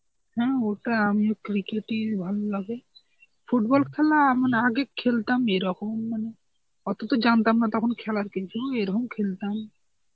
হ্যাঁ ওটা আমিও একটু দেখি ভালো লাগে. football খেলা মানে আগে খেলতাম এরকম মানে অত তো জানতাম না তখন খেলার কিন্তু এরকম খেলতাম.